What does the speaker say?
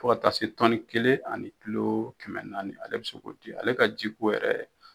Fo ka taa se tɔni kelen ani kilo kɛmɛ naani ale bɛ se ka o di, ale ka jiko yɛrɛ